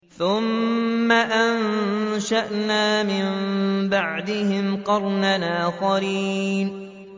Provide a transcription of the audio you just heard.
ثُمَّ أَنشَأْنَا مِن بَعْدِهِمْ قَرْنًا آخَرِينَ